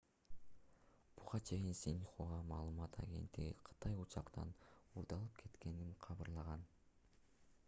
буга чейин синьхуа маалымат агенттиги кытай учактын уурдалып кеткенин кабарлаган